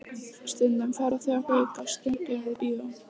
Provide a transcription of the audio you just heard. Stundum fara þau á Gauk á Stöng eða í bíó.